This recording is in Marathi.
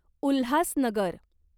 उल्हासनगर